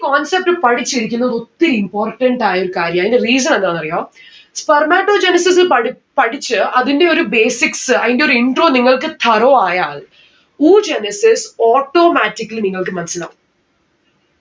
concept പഠിച്ചിരിക്കുന്നത് ഒത്തിരി important ആയൊരു കാര്യാ. അതിന്റെ reason എന്താണെന്ന് അറിയോ. Spermatogenesis പഠി പഠിച്ച് അതിന്റെ ഒരു basics അയിന്റെ ഒരു intro നിങ്ങൾക്ക് thorough ആയാൽ, Oogenesis automatically നിങ്ങൾക്ക് മനസ്സിലാവും.